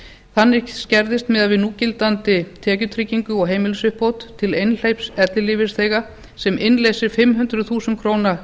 þannig skerðist miðað við núgildandi tekjutryggingu og heimilisuppbót til einhleyps ellilífeyrisþega sem innleysir fimm hundruð þúsund krónur